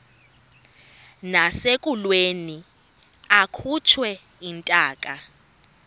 nasekulweni akhutshwe intaka